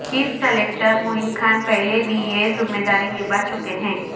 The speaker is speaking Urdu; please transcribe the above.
چیف سلیکٹر معین خان پہلے بھی یہ ذمہ داری نبھا چکے ہیں